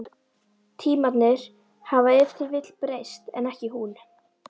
Tímarnir hafa ef til vill breyst, en ekki hún.